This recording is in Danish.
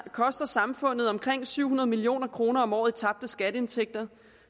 koster samfundet omkring syv hundrede million kroner om året i tabte skatteindtægter